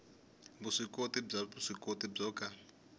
vuswikoti bya vuswikoti byo ka